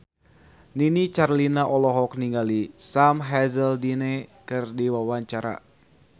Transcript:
Nini Carlina olohok ningali Sam Hazeldine keur diwawancara